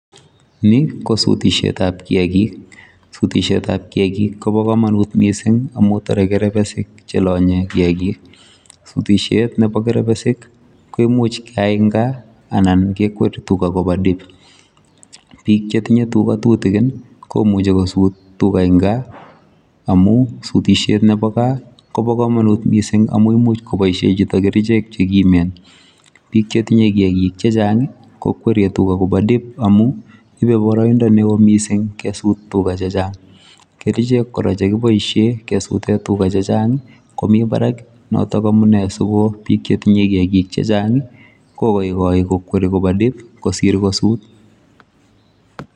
Ni ko sutishetap kiakik. Sutishetap kiakik kobo komonut mising amu tarei kerepesik chelanye kiakik. Sutishet nebo kerebesik koimuch keyai eng' gaa anan kekweri tuga kopa dip biik chetinye tuga tutikin komuchi kosut tuga eng gaa amu sutishet nebo gaa kobo komanut mising amu imuch kobaishe chito kerichek chekimen. Bik chetinye kiakik chechang kokweriei tuga koba dip amu ibei boroindo neo mising kesut tuga chechang'. Kerichek kora chekoboishee kesute tuga chechang komi barak noto amune si bik chetinye tuga chechang' kokoikoi kokweri tuga koba dip kosir kosut.